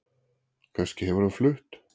Kannski hefur hann flutt